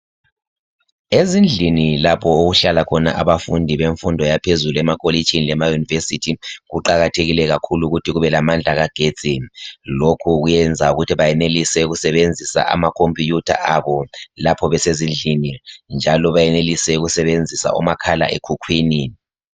Ezindlini lapho okuhlala khona abafundi bemfundo yaphezulu emakolitshini lema university kuqakathekile kakhulu ukuthi kube lamagetsi lokhu kuyenza ukuthi benelise ukusebenzisa ama computer abo lapho besezindlini njalo benelise ukusebenzisa omakhala ekhukhwini